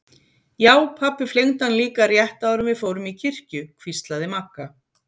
Já pabbi flengdi hann líka rétt áður en við fórum í kirkju hvíslaði Magga.